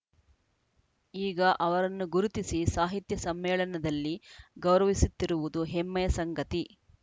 ಈಗ ಅವರನ್ನು ಗುರುತಿಸಿ ಸಾಹಿತ್ಯ ಸಮ್ಮೇಳನದಲ್ಲಿ ಗೌರವಿಸುತ್ತಿರುವುದು ಹೆಮ್ಮೆಯ ಸಂಗತಿ